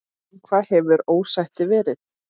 Um hvað hefur ósættið verið?